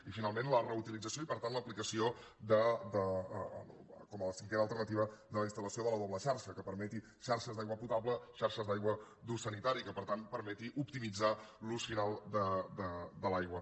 i finalment la reutilització i per tant l’aplicació com a cinquena alternativa de la instalble xarxa que permeti xarxes d’aigua potable i xarxes d’aigua d’ús sanitari i que per tant permeti optimitzar l’ús final de l’aigua